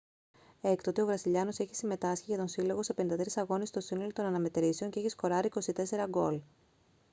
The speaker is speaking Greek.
έκτοτε ο βραζιλιάνος έχει συμμετάσχει για τον σύλλογο σε 53 αγώνες στο σύνολο των αναμετρήσεων και έχει σκοράρει 24 γκολ